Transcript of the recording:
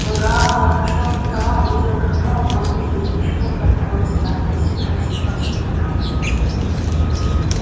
гаал отошёл от стола и увидел как прямо в воздухе из ничего формируется надпись такси по всем направлениям